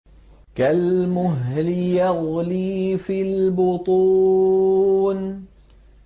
كَالْمُهْلِ يَغْلِي فِي الْبُطُونِ